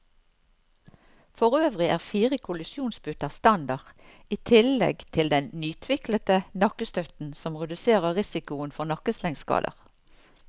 Forøvrig er fire kollisjonsputer standard, i tillegg til den nytviklede nakkestøtten som reduserer risikoen for nakkeslengskader.